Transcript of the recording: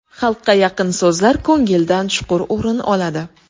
Xalqqa yaqin so‘zlar ko‘ngildan chuqur o‘rin oladi.